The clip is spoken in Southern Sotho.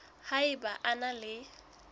ha eba o na le